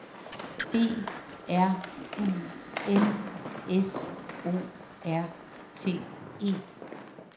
B R U N S O R T E